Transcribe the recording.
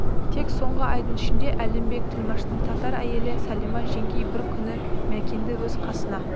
тек соңғы айдың ішінде әлімбек тілмаштың татар әйелі сәлима жеңгей бір күні мәкенді өз қасына